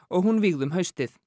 og hún vígð um haustið